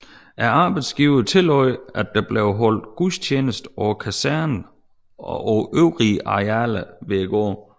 Arbejdsgiverne tillod at der blev holdt gudstjenester på kasernerne og på øvrige arealer ved gården